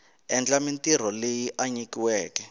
endla mintirho leyi a nyikiweke